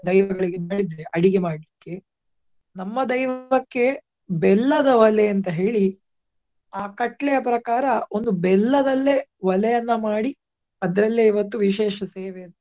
ದೈವಗಳಿಗೆ ಅಡಿಗೆ ಮಾಡ್ಲಿಕ್ಕೆ ನಮ್ಮ ದೈವಕ್ಕೆ ಬೆಲ್ಲದ ಅಂತ ಹೇಳಿ ಆ ಕಟ್ಲೆಯ ಪ್ರಕಾರ ಒಂದು ಬೆಲ್ಲದಲ್ಲೇ ಒಲೆಯನ್ನ ಮಾಡಿ ಅದರಲ್ಲೇ ಇವತ್ತು ವಿಶೇಷ ಸೇವೆ.